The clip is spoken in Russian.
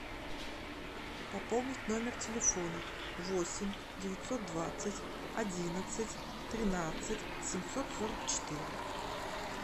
пополнить номер телефона восемь девятьсот двадцать одиннадцать тринадцать семьсот сорок четыре